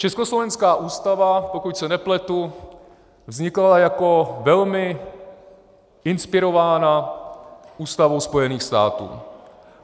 Československá ústava, pokud se nepletu, vznikala jako velmi inspirována ústavou Spojených států.